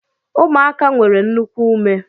Ụmụaka nwere nnukwu ume